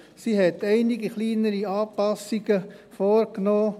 Sie hat einige kleinere Anpassungen vorgenommen.